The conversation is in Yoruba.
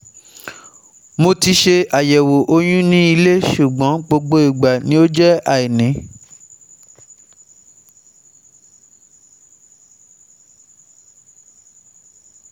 Mo ti ṣe àyẹ̀wò oyún ní ilé ṣùgbọ́n gbogbo ìgbà ni ó jẹ́ àìní